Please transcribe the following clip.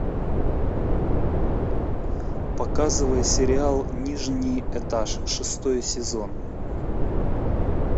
показывай сериал нижний этаж шестой сезон